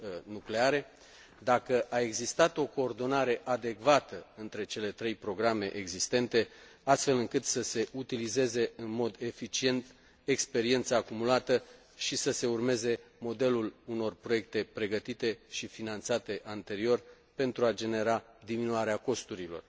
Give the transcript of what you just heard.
nucleare, dacă a existat o coordonare adecvată între cele trei programe existente, astfel să se utilizeze în mod eficient experiența acumulată și să se urmeze modelul unor proiecte pregătite și finanțate anterior pentru a genera diminuarea costurilor